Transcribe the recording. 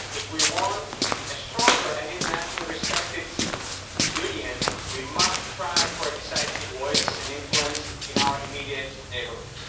If we want a stronger and internationally respected Union, we must try for a decisive voice and influence in our immediate neighbourhood.